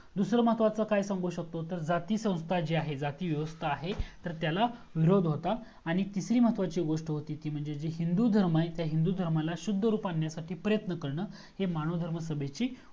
दूसरा महत्वाचा काय सांगू शकतो तर जाती संस्था जी आहे जाती व्यवस्थाआहे तर त्याला विरोध होता आणि तिसरी महत्वाची गोस्ट होती ती म्हणजे जे हिंदू धर्म आहे त्या हिंदू धर्माला शुद्ध रूप आणण्यासाठी प्रयत्न करन ही मानव धर्म सभेची